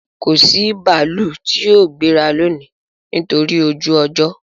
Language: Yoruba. Kò sí bààlù tì yóò gbẹ̀rà lónì nítorí ojú-ọ̀jọ